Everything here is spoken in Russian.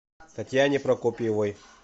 татьяне прокопьевой